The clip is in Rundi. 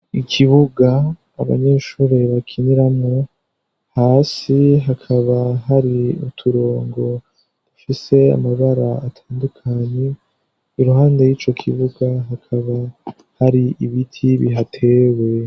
Ikibuga abanyeshuri bakiniramwo, hasi hakaba hari uturongo dufise amabara atandukanye iruhande y'ico kibuga hakaba hari ibiti bihatewe.